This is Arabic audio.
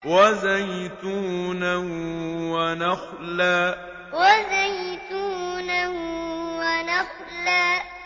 وَزَيْتُونًا وَنَخْلًا وَزَيْتُونًا وَنَخْلًا